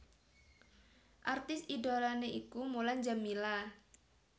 Artis idholané iku Mulan Jameela